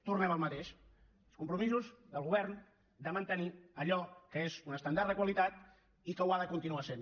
tornem al mateix als compromisos del govern de mantenir allò que és un estàndard de qualitat i que ho ha de continuar sent